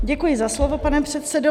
Děkuji za slovo, pane předsedo.